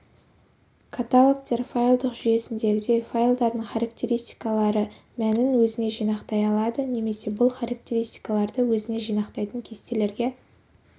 каталогтер файлдық жүйесіндегідей файлдардың характеристикалары мәнін өзіне жинақтай алады немесе бұл характеристикаларды өзіне жинақтайтын кестелерге